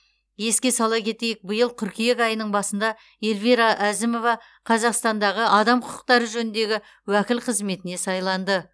еске сала кетейік биыл қыркүйек айының басында эльвира әзімова қазақстандағы адам құқықтары жөніндегі уәкіл қызметіне сайланды